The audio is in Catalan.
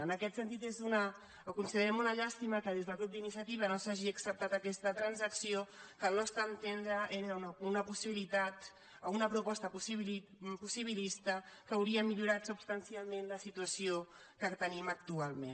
en aquest sentit ho considerem una llàstima que des del grup d’iniciativa no s’hagi acceptat aquesta trans·acció que al nostre entendre era una possibilitat o una proposta possibilista que hauria millorat substan·cialment la situació que tenim actualment